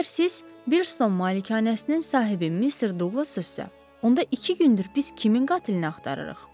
Əgər siz Birton malikanəsinin sahibi Mr. Douglas-sınızsa, onda iki gündür biz kimin qatilini axtarırıq?